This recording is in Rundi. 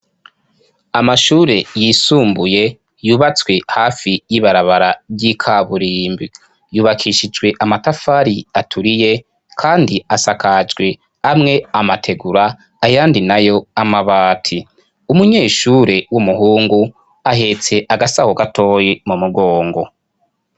Amashure yisumbuye yubatswe hafi y'ibarabara ry'ikaburimbi ,yubakishijwe amatafari aturiye kandi asakajwe amwe amategura ayandi nayo amabati. Umunyeshure w'umuhungu ahetse agasaho gatoye mu mugongo.